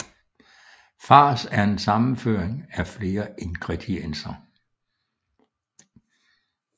Fars er en sammenrøring af flere ingredienser